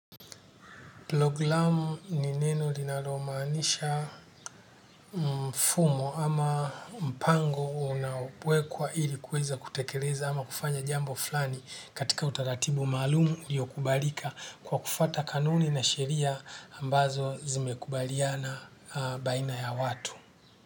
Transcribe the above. Programu ni neno linalomaanisha mfumo ama mpango unaowekwa ili kuweza kutekeleza ama kufanya jambo fulani katika utaratibu maalum uliokubalika kwa kufuata kanuni na sheria ambazo zimekubaliana baina ya watu.